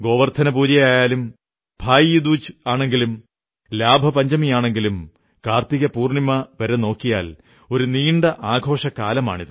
ഗോവർധനപൂജയായാലും ഭായി ദൂജ് ആണെങ്കിലും ലാഭപഞ്ചമിയാണെങ്കിലും കാർത്തിക പൂർണ്ണിമ വരെ നോക്കിയാൽ ഒരു നീണ്ട ആഘോഷക്കാലമാണ്